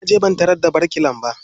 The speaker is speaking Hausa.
Na je ban tarar da birkilan ba.